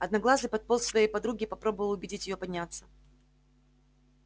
одноглазый подполз к своей подруге и попробовал убедить её подняться